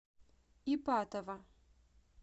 ипатово